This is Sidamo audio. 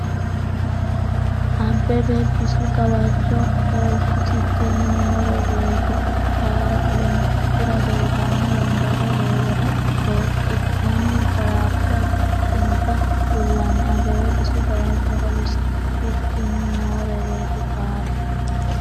Abbebe bisu gawajjo hooltusikkinni Noorwete paara olompikera doyitanno wombare heewora beeqqatenni baraarsha adhinota kullanni Abbebe bisu gawajjo hooltusikkinni Noorwete paara.